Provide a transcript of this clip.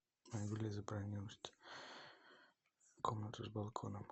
комнату с балконом